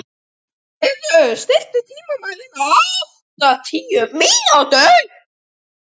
Finnvarður, stilltu tímamælinn á áttatíu mínútur.